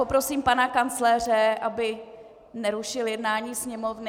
Poprosím pana kancléře, aby nerušil jednání Sněmovny... .